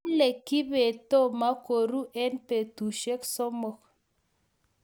Kale kibet tomo koru eng petushek somok